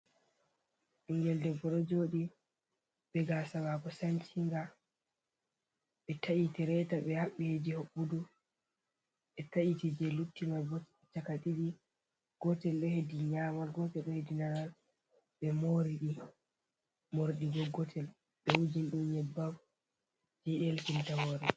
Bengel debbo do jodi be gasawako sanchinga be ta’iti reta be habbeji hobudu be ta’iti je luttima chaka didi gotel do hedi nyamal gotel do hedinaral be rmordigol gotel be wujin din yebbab je idel kimta more.